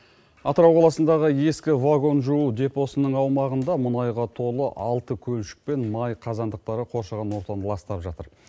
атырау қаласындағы ескі вагон жуу депо сының аумағында мұнайға толы алты көлшік пен май қазандықтары қоршаған ортаны ластап жатыр